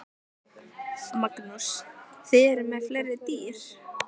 Magnús: Þið eruð með fleiri dýr?